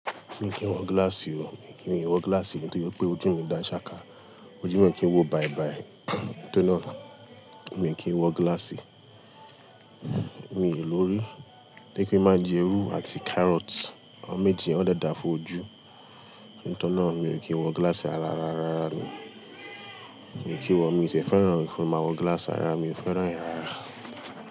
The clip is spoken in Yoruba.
Mi kì ń wọ glass o. Mi kì ń wọ glass nítorí pé ojú mi dá ṣàká. Ojú mi ki n wò báibái. Nítorí náà, mi kì ń wọ glass. Mi ò lórí pé kí n má jẹ irú àti carrot. Awọ́n méji, ọ dẹ dáa fún ojú. Nítorí náà, mi ò kí ń wọ glass rárá rárá rárá ni. Mi ò kí ń wọ, mi ò ti ẹ féràn rẹ gan Ma wọ glass rárá, mi ò féràn rẹ̀ rárá.